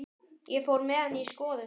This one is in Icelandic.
Ég fór með hana í skoðun.